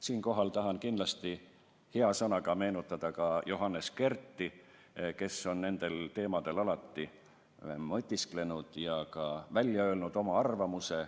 Siinkohal tahan kindlasti hea sõnaga meenutada Johannes Kerti, kes on nendel teemadel alati mõtisklenud ja ka välja öelnud oma arvamuse.